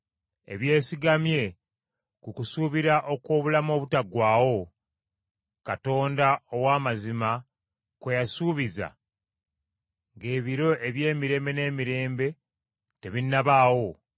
ebyesigamye ku kusuubira okw’obulamu obutaggwaawo, Katonda ow’amazima kwe yasuubiza ng’ebiro eby’emirembe n’emirembe tebinnabaawo,